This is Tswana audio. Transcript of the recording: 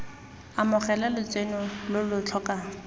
amogela lotseno lo lo tlhokang